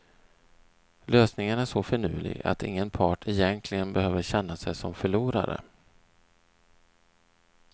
Lösningen är så finurlig att ingen part egentligen behöver känna sig som förlorare.